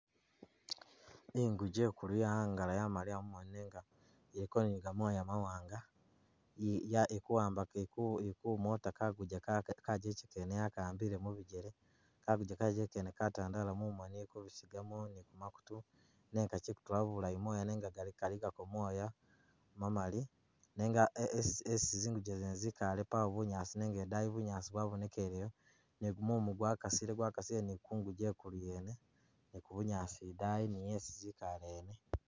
Inguje ikulu yaangala yamaliya mumoni nenga iliko ne gamoya mawanga eh ya ilikuwambaka ili kumoota kaguje kene kajeche kene yakaambile mubijele kaguje kajeje kene katandala mumoni kubisigamo ne kumakutu nenga kachikutula bulayi mooya nenga kaligako moya mamali nenga esi zinguje zene zikaale paawo bunyaasi nenga idaayi bunyaasi bwabonekeleyo ne gumumu gwa kasile gwakasile ne kunguje ikulu yene ne bunyaasi idani niye ezi zikaale yene.